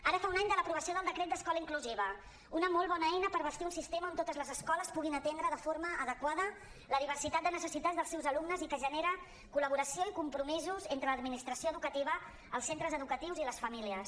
ara fa un any de l’aprovació del decret d’escola inclusiva una molt bona eina per bastir un sistema on totes les escoles puguin atendre de forma adequada la diversi·tat de necessitats dels seus alumnes i que genera col·laboració i compromisos entre l’administració educativa els centres educatius i les famílies